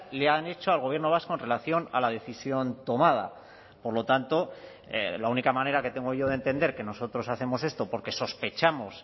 le han hecho al gobierno vasco en relación a la decisión tomada por lo tanto la única manera que tengo yo de entender que nosotros hacemos esto porque sospechamos